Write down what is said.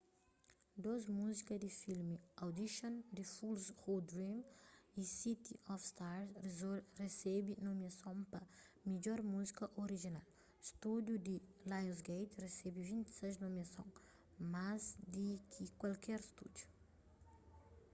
dôs muzika di filmi audition the fools who dream y city of stars resebe nomiason pa midjor muzika orijinal. stúdiu di lionsgate resebe 26 nomiason - más di ki kualker stúdiu